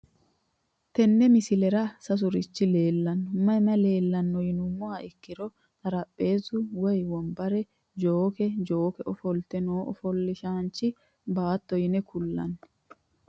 Tenne misilera sasurichi leelano mayi mayi leelano yinumoha ikiro xarapheezu woyi wonbare jookke jooke ofolte noo ofolasinchinna baato yine kulani.